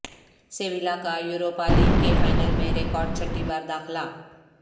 سیویلا کا Europa League کے final میں ریکارڈ چھٹی بار داخلہ